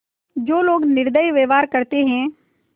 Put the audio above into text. जो लोग निर्दयी व्यवहार करते हैं